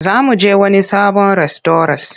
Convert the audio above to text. Za mu je wani sabon rastauras.